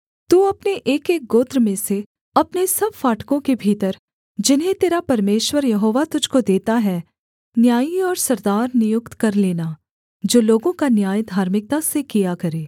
तू अपने एकएक गोत्र में से अपने सब फाटकों के भीतर जिन्हें तेरा परमेश्वर यहोवा तुझको देता है न्यायी और सरदार नियुक्त कर लेना जो लोगों का न्याय धार्मिकता से किया करें